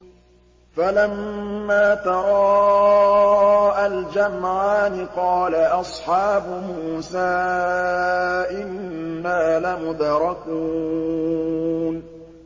فَلَمَّا تَرَاءَى الْجَمْعَانِ قَالَ أَصْحَابُ مُوسَىٰ إِنَّا لَمُدْرَكُونَ